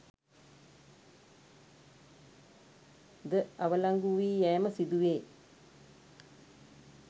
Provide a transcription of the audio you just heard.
ද අවලංගුවී යෑම සිදුවේ